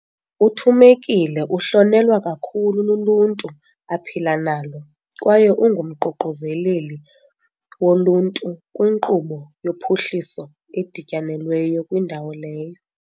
UThumekile uhlonelwa kakhulu luluntu aphila nalo kwaye unguMququzeleli woLuntu kwiNkqubo yoPhuhliso eDityanelweyo kwindawo leyo.